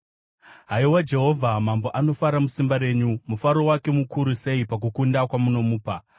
Haiwa Jehovha, mambo anofara musimba renyu. Mufaro wake mukuru sei pakukunda kwamunomupa!